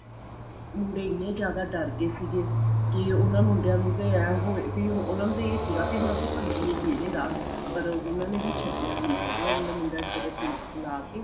ਮੁੰਡੇ ਇੰਨੇ ਜਿਆਦਾ ਡਰ ਗਏ ਸੀਗੇ ਕਿ ਉਹਨਾ ਮੁੰਡਿਆਂ ਨੂੰ ਤਾਂ ਐਵੇਂ ਹੋਇਆ ਵੀ ਉਹਨਾ ਨੂੰ ਤਾਂ ਇਹ ਸੀਗਾ ਵੀ ਹੁਣ ਅਸੀਂ ਭੱਜੀਏ ਕਿਹੜੇ ਰਾਹ ਪਰ ਉਹਨਾ ਨੇ ਵੀ ਛੱਡਿਆ ਨੀ ਹੈਗਾ ਉਹਨਾ ਮੁੰਡਿਆਂ ਨੂੰ ਜਦੀ ਪੁਲਸ ਬੁਲਾ ਕੇ